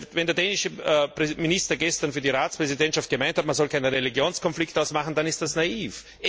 Wenn der dänische Minister gestern für die Ratspräsidentschaft gemeint hat, man solle keinen Religionskonflikt daraus machen, dann ist das naiv.